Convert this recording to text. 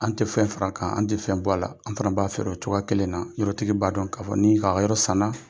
An tɛ fɛn fara kan, an tɛ fɛn bɔ a la, an fana b'a feere o cogoya kelen na, yɔrɔtigi b'a dɔn k'a fɔ nin a ka yɔrɔ san na.